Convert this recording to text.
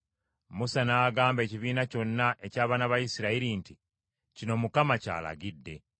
Musa n’agamba ekibiina kyonna eky’abaana ba Isirayiri nti, “Kino Mukama ky’alagidde.